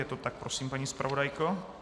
Je to tak prosím, paní zpravodajko?